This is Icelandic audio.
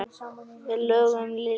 Lögðum iljar saman.